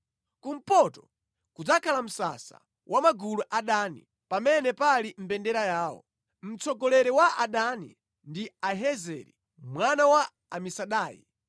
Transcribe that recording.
Kumpoto kudzakhala msasa wa magulu a Dani pamene pali mbendera yawo. Mtsogoleri wa Adani ndi Ahiyezeri mwana wa Amisadai.